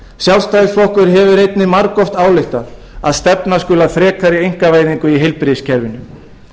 sjálfstæðisflokkurinn hefur einnig margoft ályktað að stefna skuli að frekari einkavæðingu í heilbrigðiskerfinu